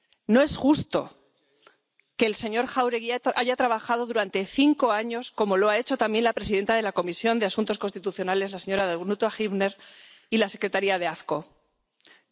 No es justo que el señor Jáuregui haya trabajado durante cinco años, como lo ha hecho también la presidenta de la Comisión de Asuntos Constitucionales, la señora Danuta Hübner, y la Secretaría de la Comisión AFCO.